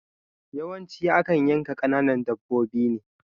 Yawanci akan yanka kananan dabbobi ne